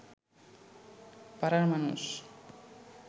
পাড়ার মানুষ